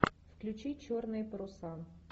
включи черные паруса